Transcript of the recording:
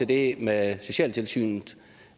det med socialtilsynet